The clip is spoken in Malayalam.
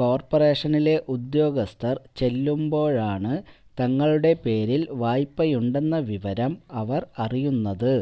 കോർപ്പറേഷനിലെ ഉദ്യോഗസ്ഥർ ചെല്ലുമ്പോഴാണ് തങ്ങളുടെ പേരിൽ വായ്പയുണ്ടെന്ന വിവരം അവർ അറിയുന്നത്